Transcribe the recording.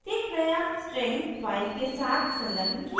प्रत्येक नया string file के साथ संलग्न किया जाएगा